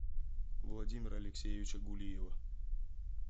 владимира алексеевича гулиева